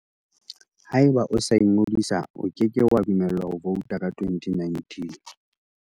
Haeba o sa ingodisa, o ke ke wa dumellwa ho vouta ka 2019.